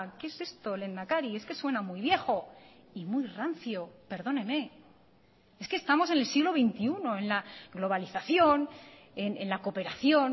qué es esto lehendakari es que suena muy viejo y muy rancio perdóneme es que estamos en el siglo veintiuno en la globalización en la cooperación